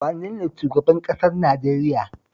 Wane ne zaɓaɓɓen shugaban ƙasar Najeriya?